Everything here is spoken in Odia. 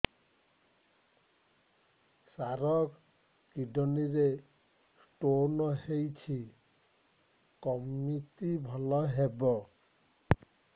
ସାର କିଡ଼ନୀ ରେ ସ୍ଟୋନ୍ ହେଇଛି କମିତି ଭଲ ହେବ